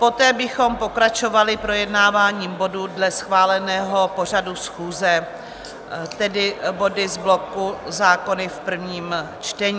Poté bychom pokračovali projednáváním bodů dle schváleného pořadu schůze, tedy body z bloku zákony v prvním čtení.